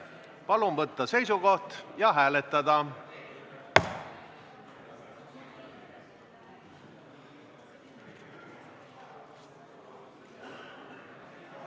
Palun võtta seisukoht ja hääletada!